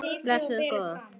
Blessuð góða.